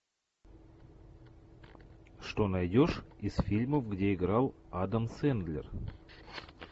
что найдешь из фильмов где играл адам сэндлер